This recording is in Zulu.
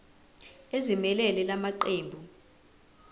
ezimelele la maqembu